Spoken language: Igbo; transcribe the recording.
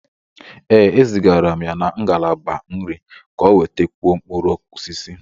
Ee, e zigara m ya na ngalaba nri ka ọ nwètakwuó mkpụrụ osisi